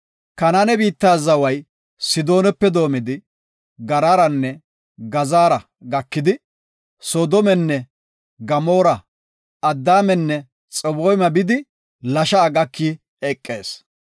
Kanaane biitta zaway Sidoonape doomidi, Garaaranne Gaazara gakidi, Soodomenne Gamoora, Adaamanne Xaboyma bidi, Lasha7a gaki eqis.